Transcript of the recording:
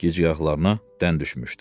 Gizgahlarına dən düşmüşdü.